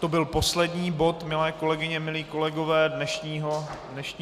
To byl poslední bod, milé kolegyně, milí kolegové, dnešního jednání.